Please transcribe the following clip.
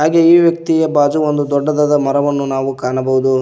ಹಾಗೇ ಈ ವ್ಯಕ್ತಿಯ ಭಾಜು ಒಂದು ದೊಡ್ಡದಾದ ಮರವನ್ನು ನಾವು ಕಾಣಬಹುದು.